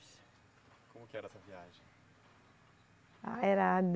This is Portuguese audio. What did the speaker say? Como que era essa viagem? Ah, era